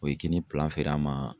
O ye kini feere an ma